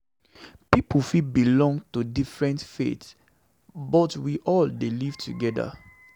Pipo fit belong to different faiths, but we all dey live together.